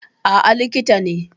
Aa, likita ne